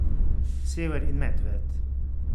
Sever in Medved.